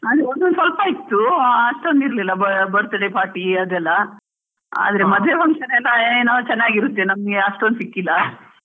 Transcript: ಒಂದ್ ಒಂದ್ ಸ್ವಲ್ಪ ಇತ್ತು, ಅಷ್ಟೊಂದ್ ಇರ್ಲಿಲ್ಲ birthday party ಅದೆಲ್ಲಾ, ಆದ್ರೆ ಮದ್ವೆ function ಎಲ್ಲ ಏನೋ ಚೆನ್ನಗಿರುತ್ತೆ ನಮ್ಗೆ ಅಷ್ಟೊಂದ್ ಸಿಕ್ಕಿಲ್ಲ.